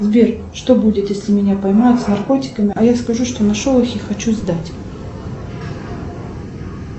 сбер что будет если меня поймают с наркотиками а я скажу что нашел их и хочу сдать